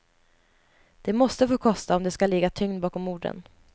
Det måste få kosta om det ska ligga tyngd bakom orden.